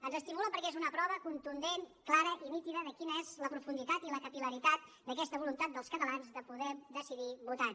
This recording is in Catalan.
ens estimula perquè és una prova contundent clara i nítida de quina és la profunditat i la capillaritat d’aquesta voluntat dels catalans de poder decidir votant